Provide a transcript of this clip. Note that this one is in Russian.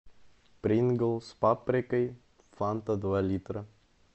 принглс с паприкой фанта два литра